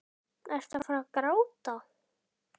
Ertu að fara að gráta?